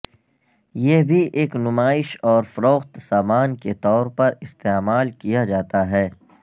یہ بھی ایک نمائش اور فروخت سامان کے طور پر استعمال کیا جاتا ہے